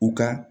U ka